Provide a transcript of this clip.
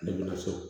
Ne ma sɔn